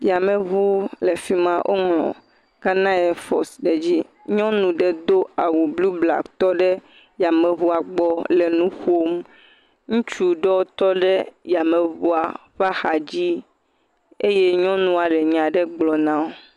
Yameŋu le fi ma. Woŋlɔ Ghana ɛfɔsi ɖe dzi. nyɔnu ɖe do awu bluu blaa ki tɔ ɖe yameŋua gbɔ le nu ƒom. Ŋutsu ɖewo tɔ ɖe yameŋua ƒe axadzi eye nyɔnua le nya ɖe gblɔ na wo.